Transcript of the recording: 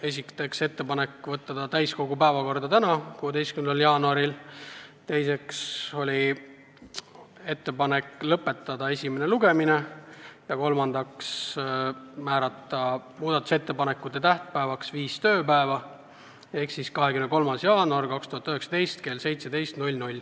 Esiteks otsustati teha ettepanek võtta eelnõu täiskogu päevakorda tänaseks, 16. jaanuariks; teiseks, teha ettepanek esimene lugemine lõpetada, ja kolmandaks, määrata muudatusettepanekute tähtpäevaks viis tööpäeva ehk siis 23. jaanuar 2019 kell 17.